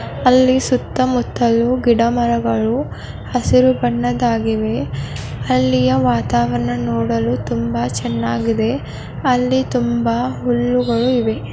ಅಲ್ಲಿ ಸುತ್ತ ಮುಟ್ಟಲು ಗಿಡ ಮರಗಳು ಹಸಿರು ಬಣ್ಣದಾಗಿವೆ.ಅಲ್ಲಿ ವಾತಾವಾರಣ ನೋಡಲು ತುಂಬಾ ಚೆನ್ನಾಗಿದೆ ಅಲ್ಲಿ ತುಂಬಾ ಹುಲ್ಲುಗಳು ಇವೆ .